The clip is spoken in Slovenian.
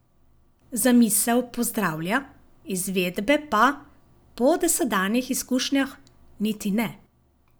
Zamisel pozdravlja, izvedbe pa, po dosedanjih izkušnjah, niti ne.